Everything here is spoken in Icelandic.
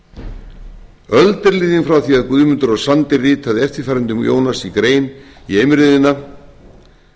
því að guðmundur á sandi ritaði eftirfarandi um jónas í grein í eimreiðinni með leyfi